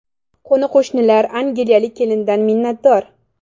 Qo‘ni-qo‘shnilar angliyalik kelindan minnatdor.